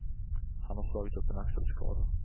Han har slagit upp en axelskada.